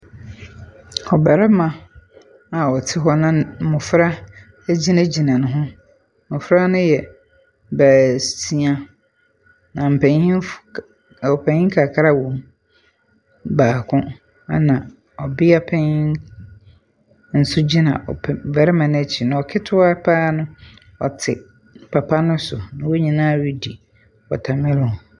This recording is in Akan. Ɔbɛrima a ɔte hɔ na mmofra egyina gyina ne ho. Mmofra no yɛ bɛɛsia na mpanyinfo ɔpanyin kakra wɔ mu baako ɛna ɔbia panyin nso gyina ɔbɛrima no ɛkyi na kita paa no ɔte papa no so na wɔn nyinaa redi watermellon.